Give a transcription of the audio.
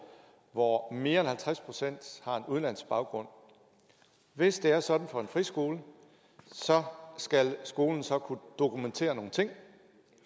hvor mere end halvtreds procent har en udenlandsk baggrund hvis det er sådan for en friskole skal skolen så kunne dokumentere nogle ting